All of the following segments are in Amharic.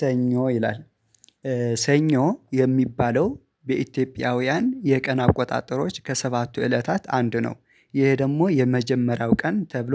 ሰኞ ይላል ሰኞ የሚባለው በኢትዮጵያውያን የቀን አቆጣጠሮች ከሰባቱ እለታት አንዱ ነው ይሄ ደግሞ የመጀመሪያው ቀን ተብሎ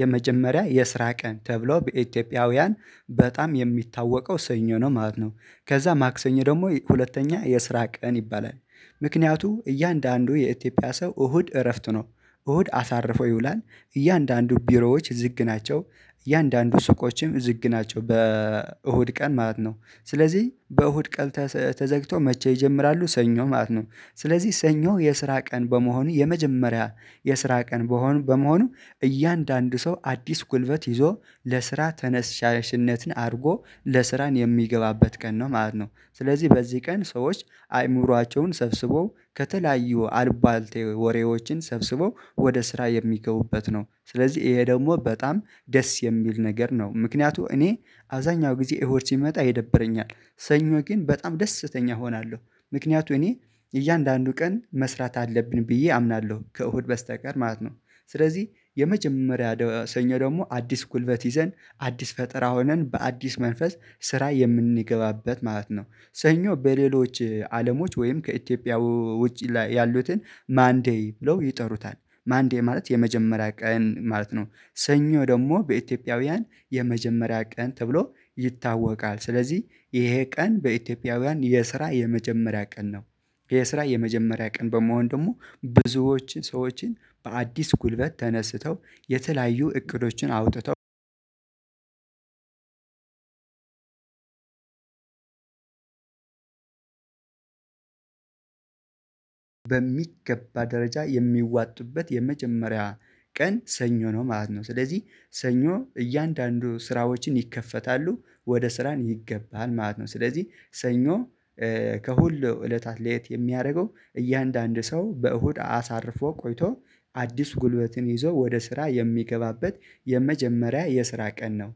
የመጀመሪያ የስራ ቀን ተብሎ በኢትዮጵያውያን በጣም የሚታወቀው ሰኞ ነው ማለት ነው። ከዛ ማክሰኞ ደግሞ ሁለተኛ የስራ ቀን ይባላል። ምክንያቱም እያንዳንዱ የኢትዮጵያ ሰው እሁድ እረፍት ነው እሁድ አሳርፎ ይውላል እያንዳንዱ ቢሮዎች ዝግ ናቸው እያንዳንዱ ሱቆችም ዝግ ናቸው በእሁድ ቀን ማለት ነው። ስለዚህ በእሁድ ቀን ተዘግቶ መቼ ይጀምራሉ ሰኞ ማለት ነው። ስለዚህ ሰኞ የስራ ቀን በመሆኑ የመጀመሪያ የስራ ቀን በመሆኑ እያንዳንዱ ሰው አዲስ ጉልበት ይዞ ለስራ ተነሻሽነትን አድርጎ ለስራን የሚገባበት ቀን ነው ማለት ነው፤። ስለዚህ በዚህ ቀን ሰዎች አይምሯቸውን ሰብስቦ ከተለያዩ አልባልቴ ወሬዎችን ሰብስቦ ወደ ስራ የሚገቡበት ነው። ስለዚህ ይሄ ደግሞ በጣም ደስ የሚል ነገር ነው። ምክንያቱም እኔ አብዛኛው ጊዜ እሁድ ሲመጣ ይደብረኛል ሰኞ ግን በጣም ደስተኛ እሆናለሁ። ምክንያቱም እኔ እያንዳንዱ ቀን መስራት አለብን ብዬ አምናለሁ ከእሁድ በስተቀር ማለት ነው። ስለዚህ የመጀመሪያ ሰኞ ደግሞ አዲስ ጉልበት ይዘን አዲስ ፈጠራ ሆነን በአዲስ መንፈስ ስራ የምንገባበት ማለት ነው። ሰኞ በሌሎች አለሞች ወይም ከኢትዮጵያ ውጪ ላይ ያሉትን ማንዴይ ብለው ይጠሩታል ማንዴይ ማለት የመጀመሪያ ቀን ማለት ነው፤። ሰኞ ደግሞ በኢትዮጵያውያን የመጀመሪያ ቀን ተብሎ ይታወቃል ስለዚህ ይሄ ቀን በኢትዮጵያውያን የስራ የመጀመሪያ ቀን ነው። የስራ የመጀመሪያ ቀን በመሆን ደግሞ ብዙዎችን ሰዎችን በአዲስ ጉልበት ተነስተው የተለያዩ እቅዶችን አውጥተው በሚገባ ደረጃ የሚዋጡበት የመጀመሪያ ቀን ሰኞ ነው ማለት ነው። ስለዚህ ሰኞ እያንዳንዱ ስራዎችን ይከፈታሉ ወደ ስራን ይገባል ማለት ነው። ስለዚህ ሰኞ ከሁሉ እለታት ሌት የሚያደርገው እያንዳንዱ ሰው በእሁድ አሳርፎ ቆይቶ አዲስ ጉልበትን ይዞ ወደ ስራ የሚገባበት የመጀመሪያ የስራ ቀን ነው